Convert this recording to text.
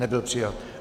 Nebyl přijat.